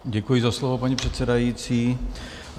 Děkuji za slovo, paní předsedající.